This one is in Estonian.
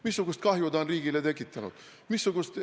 Missugust kahju ta on riigile tekitanud?